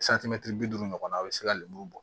bi duuru ɲɔgɔnna a be se ka lemuru bɔ